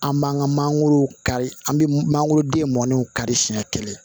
An b'an ka mangoro kari an bɛ mangoroden mɔnniw kari siɲɛ kelen